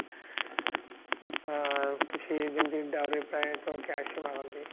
ଅ କିଛି ଯେମିତି ଦାଉରୀ ପ୍ରାୟ ତ cash ହିଁ ମାଗନ୍ତି